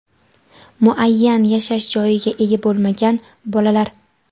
muayyan yashash joyiga ega bo‘lmagan bolalar;.